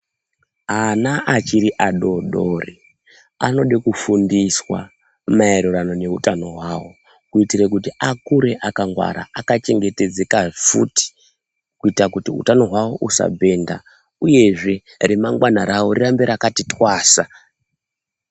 Ana achiri adoodori anode kufundiswa maererano neutano hwawo kuitire kuti akure akangwara akachengetedzeka futi kuita kuti utano hwawo husabhenda uyezve remangwana rawo rirambe rakati twasa.